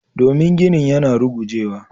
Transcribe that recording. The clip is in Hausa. Domin ginin yana rugujewa.